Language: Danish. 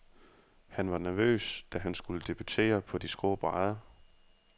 Han var nervøs, da han skulle debutere på de skrå brædder.